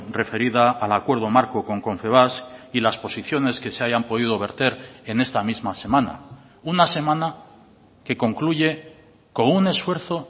referida al acuerdo marco con confebask y las posiciones que se hayan podido verter en esta misma semana una semana que concluye con un esfuerzo